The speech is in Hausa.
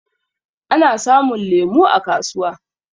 Ana samun lemu a kasuwa.